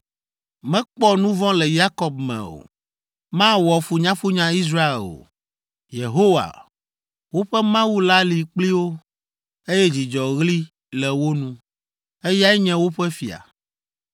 “Mekpɔ nu vɔ̃ le Yakob me o: mawɔ funyafunya Israel o! Yehowa, woƒe Mawu la li kpli wo. Eye dzidzɔɣli le wo nu, eyae nye woƒe fia!